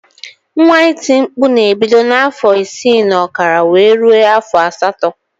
Nwa iti mkpụ na ebido na afọ isi na okara wee rue afọ asatọ.